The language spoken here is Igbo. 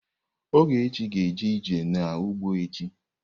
Ogechi ga-eje ije n'ugbo echi.